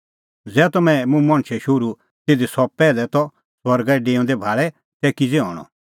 ज़ै तम्हैं मुंह मणछे शोहरू ज़िधी सह पैहलै त स्वर्गा डेऊंदअ भाल़े तै किज़ै हणअ